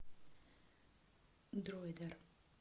дройдер